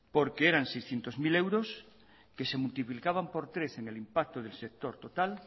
porque eran seiscientos mil euros que se multiplicaban por tres en el impacto del sector total